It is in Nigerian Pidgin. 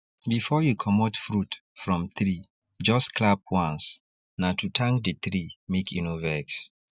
before you commot fruit from treejust clap once na to thank the tree make e no vex